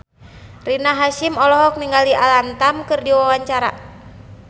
Rina Hasyim olohok ningali Alam Tam keur diwawancara